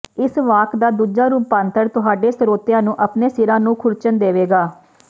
ਇਸ ਵਾਕ ਦਾ ਦੂਜਾ ਰੁਪਾਂਤਰ ਤੁਹਾਡੇ ਸਰੋਤਿਆਂ ਨੂੰ ਆਪਣੇ ਸਿਰਾਂ ਨੂੰ ਖੁਰਚਣ ਦੇਵੇਗਾ